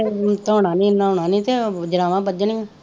ਸਿਰ ਧੋਣਾ ਨਹੀਂ ਨਹਾਉਣਾ ਨਹੀਂ ਉਹ ਜੜਾਵਾਂ ਬੱਝਣੀਆਂ